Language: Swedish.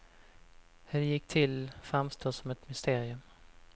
Hur det gick till framstår som ett mysterium.